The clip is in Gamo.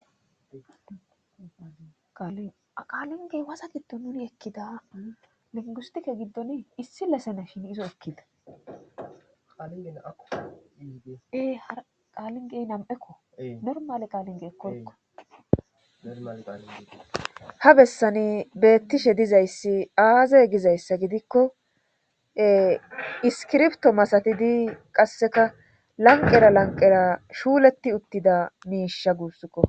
aqaalingey wasa giddo nuni ekkida lingustike giddon issi lesena shin izo ekkidaee har qaalingey nam7ekko normale qaalinge ekkoykkoha bessani beettishe dizayssi aaze gizayssa gidikko iskirpto masatidi qasseka lanqera lanqera shuuletti uttida miisha guussukko